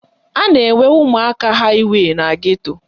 A na-enwe ụmụaka haịwey na geto